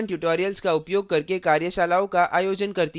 spoken tutorials का उपयोग करके कार्यशालाओं का आयोजन करती है